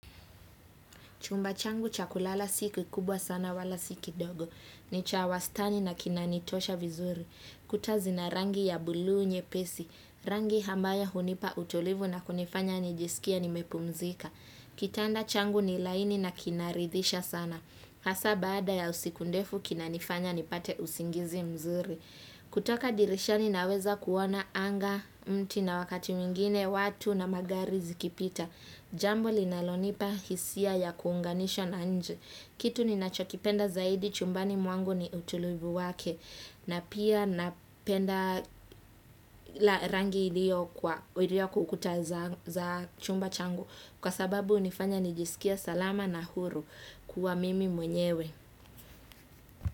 Chumba changu cha kulala si kikubwa sana wala si kidogo. Ni cha wastani na kinanitosha vizuri. Kuta zina rangi ya bulu nyepesi. Rangi hambayo hunipa utulivu na kunifanya nijisikie nimepumzika. Kitanda changu ni laini na kinaridhisha sana. Hasa bada ya siku ndefu kinanifanya nipate usingizi mzuri. Kutoka dirishani naweza kuona anga mti na wakati mwingine watu na magari zikipita. Jambo linalonipa hisia ya kuunganisha na nje kitu ninacho kipenda zaidi chumbani mwangu ni utulivu wake na pia napenda la rangi iliyo irio kwa ukuta za za chumba changu kwa sababu hunifanya nijiskie salama na huru kuwa mimi mwenyewe.